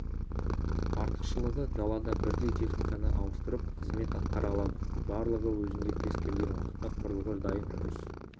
артықшылығы далада бірдей техниканы ауыстырып қызмет атқара алады барлығы өзінде кез келген уақытта құрылғы дайын жұмыс